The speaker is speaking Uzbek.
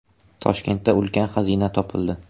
Toshkentda ulkan xazina topildi.